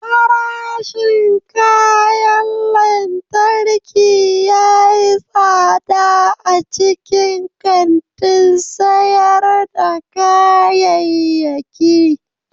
Farashin kayan lantarki ya yi tsada a cikin kantin sayar da kayayyaki.